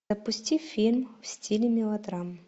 запусти фильм в стиле мелодрама